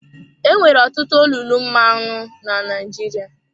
Enwere ọtụtụ olulu mmanụ na Naịjirịa.